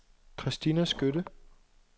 Christina Skytte